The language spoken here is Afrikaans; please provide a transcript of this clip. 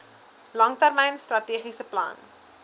langtermyn strategiese plan